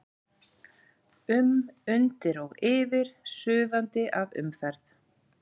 um, undir og yfir, suðandi af umferð.